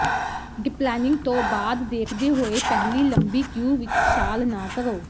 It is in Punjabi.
ਡਿਪਲੈਨਿੰਗ ਤੋਂ ਬਾਅਦ ਦੇਖਦੇ ਹੋਏ ਪਹਿਲੀ ਲੰਬੀ ਕਿਊ ਵਿੱਚ ਛਾਲ ਨਾ ਕਰੋ